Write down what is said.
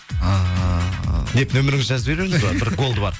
ыыы деп нөміріңізді жазып жібереміз ба бір голды бар